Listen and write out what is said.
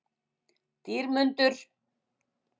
Dýrmundur